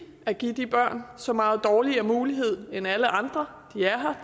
at give de børn så meget dårligere mulighed end alle andre de er her